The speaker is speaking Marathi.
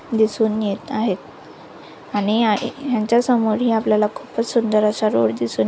दिसून येत आहेत आणि यांच्या समोर आपल्याला खूप सुंदर असा रोड दिसून--